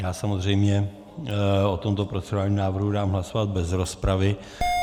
Já samozřejmě o tomto procedurálním návrhu dám hlasovat bez rozpravy.